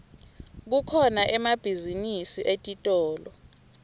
kukhona emabhizinisi etitolo